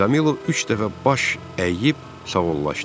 Kamilo üç dəfə baş əyib sağollaşdı.